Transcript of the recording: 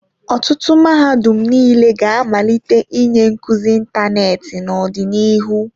Ọtụtụ mahadum niile ga-amalite ịnye nkuzi ịntanetị n'ọdịnihu.